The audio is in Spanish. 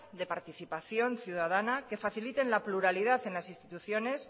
de participación ciudadana que faciliten la pluralidad en las instituciones